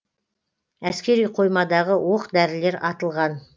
әскери қоймадағы оқ дәрілер атылған